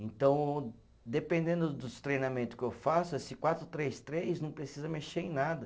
Então, dependendo dos treinamento que eu faço, esse quatro, três, três não precisa mexer em nada.